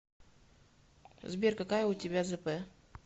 сбер какая у тебя зп